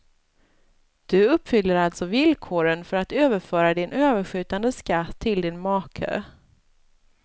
Du uppfyller alltså villkoren för att överföra din överskjutande skatt till din make.